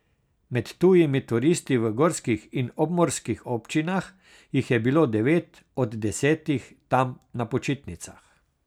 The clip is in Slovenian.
Med tujimi turisti v gorskih in obmorskih občinah jih je bilo devet od desetih tam na počitnicah.